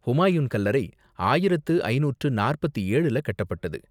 ஹூமாயூன் கல்லறை ஆயிரத்து ஐந்நூற்று நாற்பத்து ஏழுல கட்டப்பட்டது.